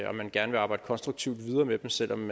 man gerne vil arbejde konstruktivt videre med dem selv om